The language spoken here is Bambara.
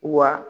Wa